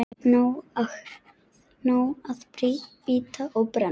Nóg að bíta og brenna.